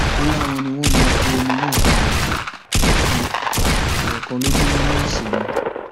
ó láwọn ni wọn máa bu omi náà fáwọn ẹẹkan ẹẹkan lójúmọ náà sí ni